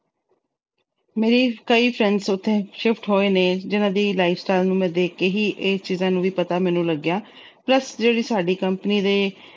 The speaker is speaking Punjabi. ਮੇਰੇ ਕਈ friends ਉਥੇ shift ਹੋਏ ਨੇ, ਉਹਨਾਂ ਦੀ lifestyle ਨੂੰ ਦੇਖ ਕੇ ਹੀ ਇਹ ਚੀਜਾਂ ਦਾ ਪਤਾ ਮੈਨੂੰ ਲੱਗਿਆ। plus ਜਿਹੜੇ ਸਾਡੀ company ਦੇ